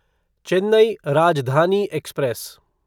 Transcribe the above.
Chennai Rajdhani express